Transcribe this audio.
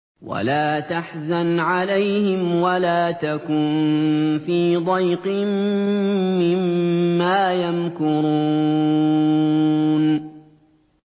وَلَا تَحْزَنْ عَلَيْهِمْ وَلَا تَكُن فِي ضَيْقٍ مِّمَّا يَمْكُرُونَ